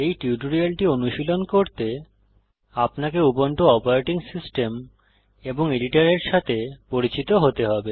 এই টিউটোরিয়ালটি অনুশীলন করতে আপনাকে উবুন্টু অপারেটিং সিস্টেম এবং এডিটরের সাথে পরিচিত হতে হবে